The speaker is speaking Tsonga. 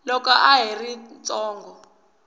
loko a ha ri ntsongo